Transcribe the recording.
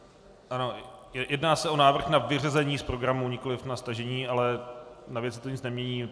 Ano, jedná se o návrh na vyřazení z programu, nikoliv na stažení, ale na věci to nic nemění.